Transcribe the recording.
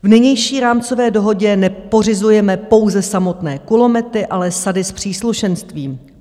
V nynější rámcové dohodě nepořizujeme pouze samotné kulomety, ale sady s příslušenstvím.